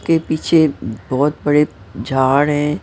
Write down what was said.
के पीछे बहुत बड़े झाड़ है।